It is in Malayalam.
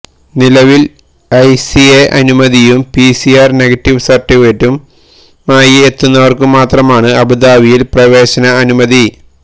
നിലവിൽ ഐസിഎ അനുമതിയും പിസിആർ നെഗറ്റീവ് സർട്ടിഫിക്കറ്റുമായി എത്തുന്നവർക്കു മാത്രമാണ് അബുദാബിയിൽ പ്രവേശന അനുമതി